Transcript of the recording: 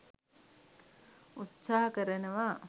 උත්සාහ කරනවා.